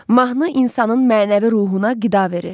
Mahnı insanın mənəvi ruhuna qida verir.